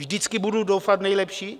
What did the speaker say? Vždycky budu doufat v nejlepší.